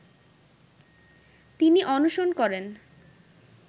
তিনি অনশন করেন